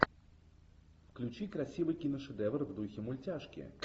включи красивый киношедевр в духе мультяшки